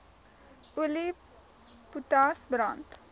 olie potas brand